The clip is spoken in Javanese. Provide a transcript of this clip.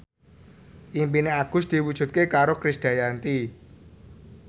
impine Agus diwujudke karo Krisdayanti